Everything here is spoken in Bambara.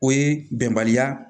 O ye bɛnbaliya